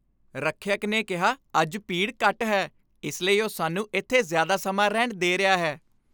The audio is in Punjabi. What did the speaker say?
ਰੱਖਿਅਕ ਨੇ ਕਿਹਾ ਅੱਜ ਭੀੜ ਘੱਟ ਹੈ। ਇਸ ਲਈ ਉਹ ਸਾਨੂੰ ਇੱਥੇ ਜ਼ਿਆਦਾ ਸਮਾਂ ਰਹਿਣ ਦੇ ਰਿਹਾ ਹੈ।